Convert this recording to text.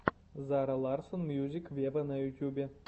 зара ларсон мьюзик вево на ютюбе